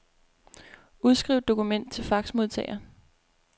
Udskriv dokument til faxmodtager.